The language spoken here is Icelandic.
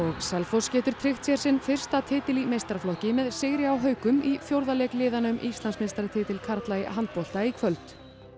Selfoss getur tryggt sér sinn fyrsta titil í meistaraflokki með sigri á haukum í fjórða leik liðanna um Íslandsmeistaratitil karla í handbolta í kvöld